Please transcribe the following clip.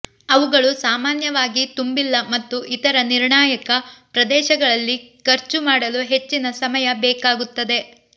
ಅವುಗಳು ಸಾಮಾನ್ಯವಾಗಿ ತುಂಬಿಲ್ಲ ಮತ್ತು ಇತರ ನಿರ್ಣಾಯಕ ಪ್ರದೇಶಗಳಲ್ಲಿ ಖರ್ಚು ಮಾಡಲು ಹೆಚ್ಚಿನ ಸಮಯ ಬೇಕಾಗುತ್ತದೆ